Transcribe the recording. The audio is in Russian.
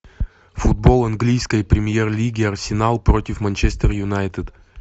футбол английской премьер лиги арсенал против манчестер юнайтед